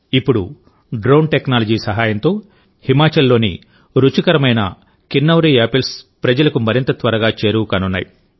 ఇప్పుడు drone technology సహాయంతోహిమాచల్లోని రుచికరమైన కిన్నౌరి యాపిల్స్ ప్రజలకు మరింత త్వరగా చేరువకానున్నాయి